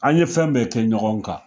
An ye fɛn bɛɛ kɛ ɲɔgɔn kan